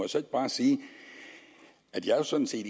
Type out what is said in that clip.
så ikke bare sige at jeg jo sådan set